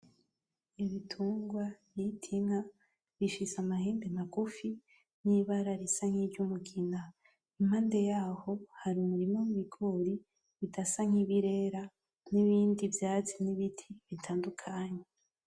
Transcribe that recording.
Ibitungwa bita inka bifise amahembe magufi n'ibara risa nk'iryumugina ,impande yaho hari umurima w’ibigori bidasa nk'ibirera nibindi vyatsi n'ibiti bitandukanye